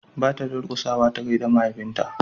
ba ta durkusa ta gaida mahaifin ta ba